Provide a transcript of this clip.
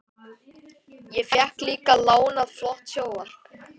Ég fékk líka lánað flott sjónvarp.